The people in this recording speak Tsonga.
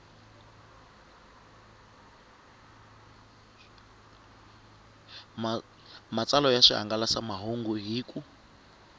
matsalwa ya swihangalasamahungu hi ku